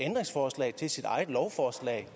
lovforslag